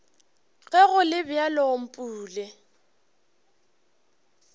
ge go le bjalo mpule